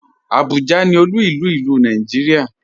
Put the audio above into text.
Abuja ni òlu ilú ilu Nàìjíríà.